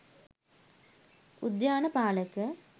උද්‍යාන පාලක